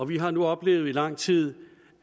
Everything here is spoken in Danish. vi har nu oplevet i lang tid